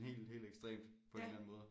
Helt helt ekstremt på en eller anden måde